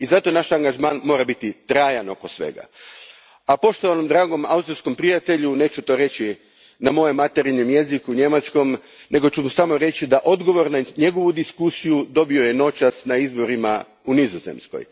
Zato naš angažman mora biti trajan oko svega, a poštovanom, dragom austrijskom prijatelju, neću to reći na mojem materinjem jeziku, njemačkom, nego ću mu samo reći da je odgovor na svoju diskusiju dobio noćas na izborima u Nizozemskoj.